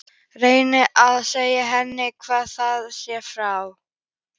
Reyni að segja henni hvað það sé frá